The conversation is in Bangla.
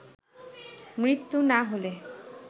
মৃত্যু না হলে